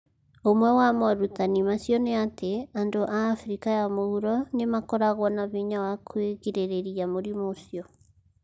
Ũmwe wa morutani macio nĩ atĩ, andũ a Afrika ya Mũhuro nĩ makoragwo na hinya wa kwĩgirĩrĩria mũrimũ ũcio.